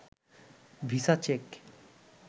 visa check